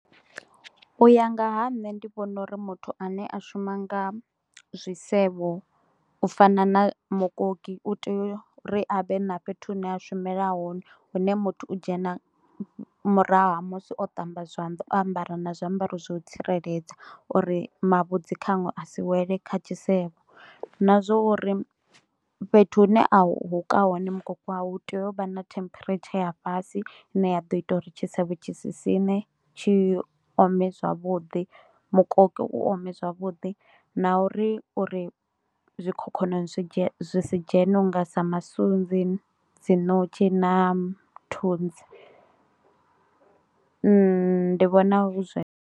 U ya nga ha nṋe ndi vhona uri muthu ane a shuma nga zwi zwisevho u fana na mukoki u tea u ri a vhe na fhethu hune a shumela hone hune muthu u dzhena murahu ha musi o ṱamba zwanḓa o ambara na zwiambaro zwa u tsireledza uri mavhudzi khanwe a si wele kha tshisevho, na zwa uri fhethu hune a huka hone mukoki wawe hu tea u vha na temperature ya fhasi ine ya ḓo ita uri tshisevho tshi sa sine tshi ome zwavhuḓi mukoki u ome zwavhuḓi na uri uri zwikhokhonono zwi si dzheni u nga sa masunzi, dzi notshi na thunzi, ndi vhona hu zwe